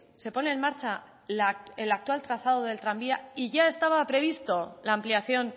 se pone en marcha el actual trazado del tranvía y ya estaba prevista la ampliación